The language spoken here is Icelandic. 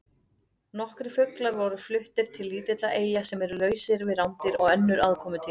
Nokkrir fuglar voru fluttir til lítilla eyja sem eru lausar við rándýr og önnur aðkomudýr.